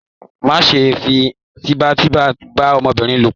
Ma ṣe fi tipatipa ba ọmọbìnrin ló pọ!